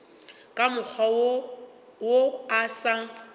ka mokgwa wo o sa